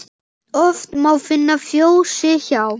Oft má finna fjósi hjá.